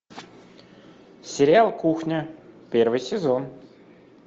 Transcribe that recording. сериал кухня первый сезон